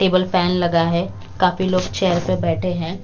Table fan लगा है काफी लोग चेयर पे बैठे हैं।